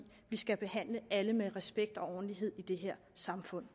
vi skal behandle alle med respekt og ordentlighed i det her samfund